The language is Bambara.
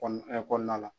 Kɔɔna la